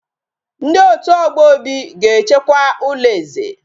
Ndi otu ogbo Obi ga echekwa ulo eze